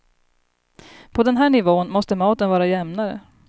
På den här nivån måste maten vara jämnare.